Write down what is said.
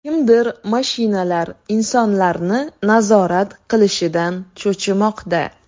Kimdir mashinalar insonlarni nazorat qilishidan cho‘chimoqda.